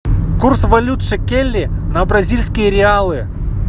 курс валют шекели на бразильские реалы